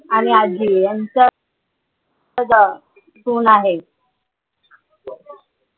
आणि आजी यांचा स्वभाव आहे.